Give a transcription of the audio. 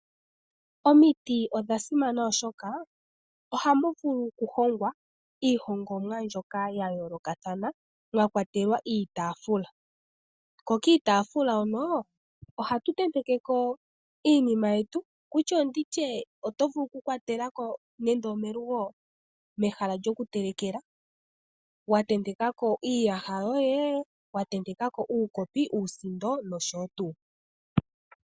Omiti odha simana oshoka ohamu vulu okuhongwa iihongomwa mbyoka ya yoolokathana mwa kwatelwa iitaafula, ko kiitaafula hono ohatu tenteke ko iinima yetu ndi tye oto vulu kukwatela ko nenge omelugo mehala lyokutelekela wa tenteka ko iiyaha yoye, wa tenteka ko uukopi nosho tuu.